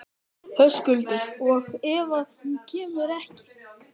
Höskuldur: Og ef að hún kemur ekki?